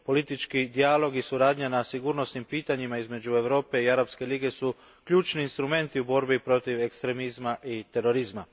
Politički dijalog i suradnja na sigurnosnim pitanjima između Europe i Arapske lige su ključni instrumenti u borbi protiv ekstremizma i terorizma.